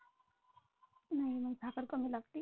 नाही मला साखर कमी लागते.